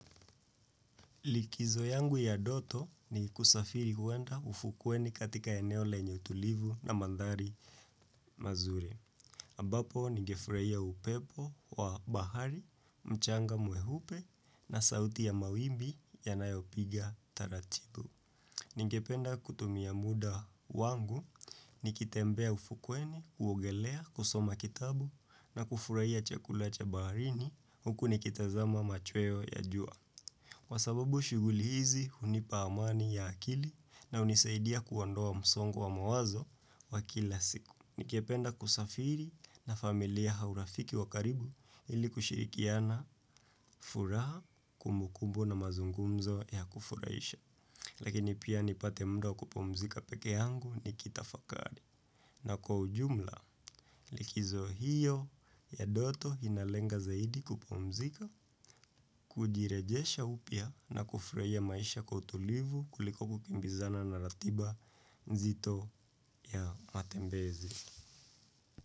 Likizo yangu ya ndoto ni kusafiri kuenda ufukweni katika eneo lenye utulivu na mandhari mazuri. Ambapo ningefuraia upepo wa bahari, mchanga mweupe na sauti ya mawimbi yanayopiga taratibu. Ningependa kutumia muda wangu, nikitembea ufukweni, uogelea, kusoma kitabu na kufuraia chakula cha baharini huku nikitazama machweo ya jua. Kwa sababu shuguli hizi, hunipa amani ya akili na unisaidia kuondoa msongo wa mawazo wa kila siku. Ningependa kusafiri na familia hau rafiki wa karibu ili kushirikiana furaha kumbukumbu na mazungumzo ya kufuraisha. Lakini pia nipate mda wa kupumzika peke angu nikitafakari. Na kwa ujumla, likizo hiyo ya doto inalenga zaidi kupumzika, kujirejesha upya na kufurahia maisha kwa utulivu kuliko kukimbizana na ratiba nzito ya matembezi.